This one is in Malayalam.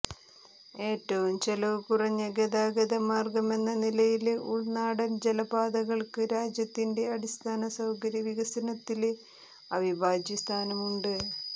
ഏറ്റവുംചെലവുകുറഞ്ഞ ഗതാഗത മാര്ഗ്ഗമെന്ന നിലയില് ഉള്നാടന് ജലപാതകള്ക്ക് രാജ്യത്തിന്റെ അടിസ്ഥാനസൌകര്യ വികസനത്തില് അവിഭാജ്യ സ്ഥാനമുണ്ട്